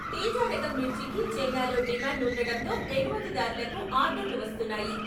తేజారకం మిర్చికి చైనాలో డిమాండ్ ఉండడంతో ఎగుమతిదారులకు ఆర్డర్లు వస్తున్నాయి.